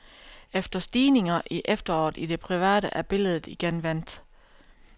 Efter stigninger i efteråret i det private, er billedet igen vendt.